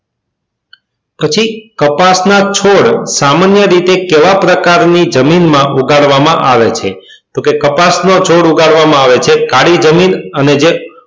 પછી કપાસ ના છોડ સામાન્ય રીતે કેવા પ્રકાર ની જમીન માં ઉગાડવા માં આવે છે તો કે કપાસ ના છોડ ઉગાડવા માં આવે છે કાળી જમીન અને